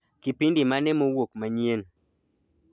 Kipindi mane mowuok manyien